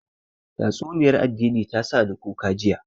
Tatsuniyar addini ya sa ni kuka jiya